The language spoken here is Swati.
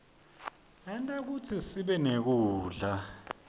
enta kutsi sibenekudla